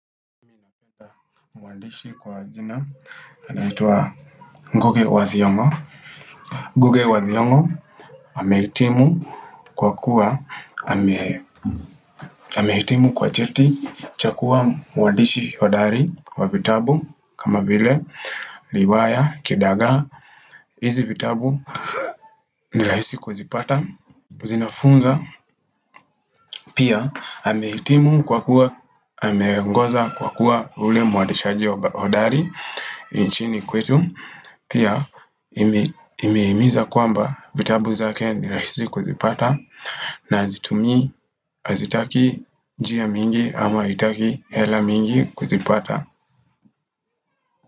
Mwandishi kwa jina anaitwa Nguge wathiongo Nguge wathiongo amehitimu kwa kuwa amehitimu kwa cheti chakua mwandishi hodari wa vitabu kama vile riwaya kidaga hizi vitabu nirahisi kuzipata zinafunza pia amehitimu kwa kuwa ameongoza kwa kuwa ule mwandishaji hodari nchini kwetu pia nimehimiza kwamba vitabu zake nirahisi kuzipata na hazitumi hazitaki njia mingi ama haitaki hela mingi kuzipata.